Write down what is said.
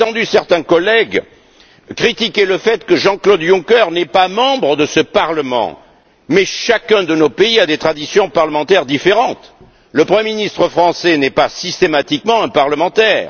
Certains collègues ont critiqué le fait que Jean Claude Juncker ne soit pas membre de ce Parlement, mais chacun de nos pays a des traditions parlementaires différentes le Premier ministre français n'est pas systématiquement un parlementaire.